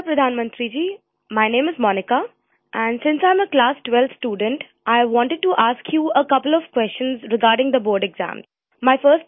"Namaskar, Pradhan Mantri Ji, my name is Monica and since I am a class 12th student, I wanted to ask you a couple of questions regarding the Board Exams